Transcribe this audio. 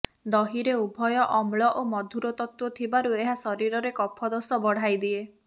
ଦହିରେ ଉଭୟ ଅମ୍ଳ ଓ ମଧୁର ତତ୍ତ୍ୱ ଥିବାରୁ ଏହା ଶରୀରରେ କଫ ଦୋଷ ବଢ଼ାଇ ଦିଏ